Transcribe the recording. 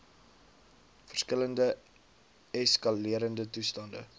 verskillende eskalerende toestande